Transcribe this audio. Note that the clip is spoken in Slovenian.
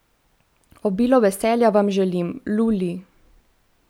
Obilo veselja vam želim, Lu Li!